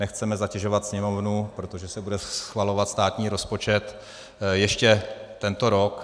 Nechceme zatěžovat Sněmovnu, protože se bude schvalovat státní rozpočet, ještě tento rok.